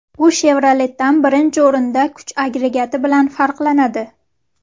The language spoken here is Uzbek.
U Chevrolet’dan, birinchi o‘rinda, kuch agregati bilan farqlanadi.